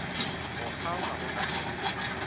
go kgaoga go ka no